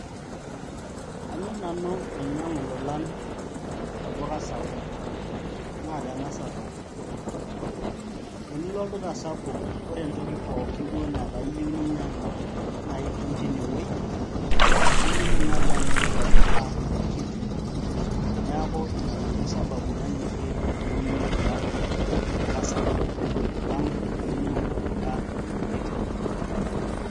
anyor nanu ainyiiang'u ilolan tolduka sapuk, naa tena sababu. tenilo olduka sapuk, ore entoki duo pookin netaa iyieu ninyiang'u, naa itum teine wueji. nimidim naaji anoto tolduka kiti. neeku ina nanu sababu, nanyorie ainyiag'u ilolan tolduka sapuk, alang' tenainyiang'u ilolann tolduka kiti.